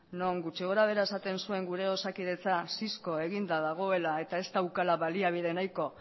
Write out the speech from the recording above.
non gutxi gorabehera esaten zuen gure osakidetza eginda dagoela eta ez daukala baliabide nahiko